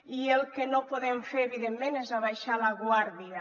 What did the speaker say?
i el que no podem fer evidentment és abaixar la guàrdia